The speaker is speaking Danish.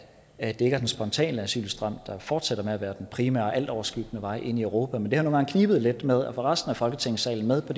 er den spontane asylstrøm der fortsætter med at være den primære og altoverskyggende vej ind i europa men det har nogle gange knebet lidt med at få resten af folketingssalen med på